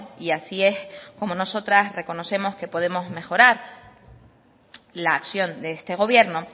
y así es como nosotras reconocemos que podemos mejorar la acción de este gobierno